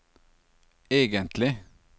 egentlig